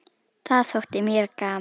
Það þótti mér gaman.